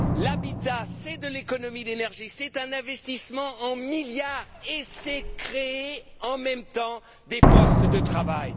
L'habitat, c'est de l'économie d'énergie, c'est un investissement en milliards, et c'est créer en même temps des postes de travail.